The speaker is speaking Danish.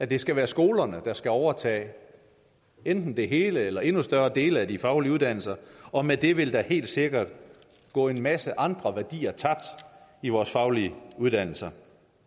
det skal være skolerne der skal overtage enten det hele eller endnu større dele af de faglige uddannelser og med det vil der helt sikkert gå en masse andre værdier tabt i vores faglige uddannelser